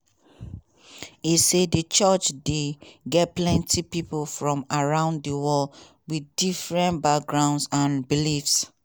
e say di church dey get many pipo from around di world wit different backgrounds and beliefs.